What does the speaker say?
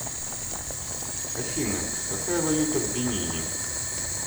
афина какая валюта в бенине